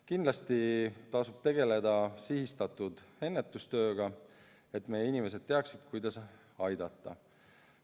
Kindlasti tasub tegeleda sihistatud ennetustööga, et meie inimesed teaksid, kuidas aidata.